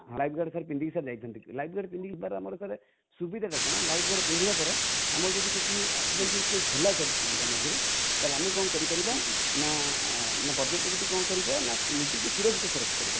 live jacket ପିନ୍ଧିକି sir ଯାଇଥାନ୍ତି| live jacket ପିନ୍ଧିକି ଯିବାର ଆମର sir ସୁବିଧା ଟା କଣ live jacket ପିନ୍ଧିବା ଦ୍ୱାରା ଆମର ଯଦି କିଛି accidental case ହେଲା sir ଚିଲିକା ମଝିରେ ତାହେଲେ ଆମେ କଣ କରିପାରିବ ନା positivity କଣ କରିବା ନା ନିଜକୁ ସୁରକ୍ଷିତ sir ରଖିପାରିବ |